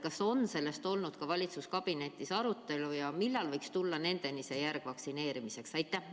Kas on sellest olnud valitsuskabinetis juttu ja millal võiks vaktsineerimise järg jõuda nendeni?